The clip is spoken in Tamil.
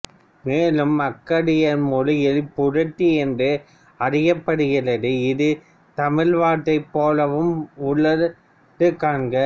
மேலும் அக்காடியார் மொழியில் புரட்டு என்று அறியப்படுகிறது இது தமிழ் வார்த்தை போலவும் உள்ளது காண்க